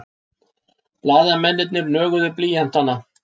Blaðamennirnir nöguðu blýanta.